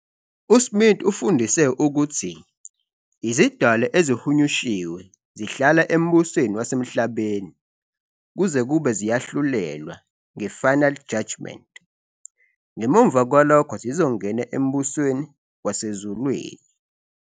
USmith ufundise ukuthi izidalwa ezihunyushiwe zihlala embusweni wasemhlabeni kuze kube ziyahlulelwa nge-Final Judgement, ngemuva kwalokho zizongena embusweni wasezulwini.